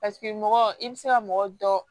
Paseke mɔgɔ i bɛ se ka mɔgɔ dɔ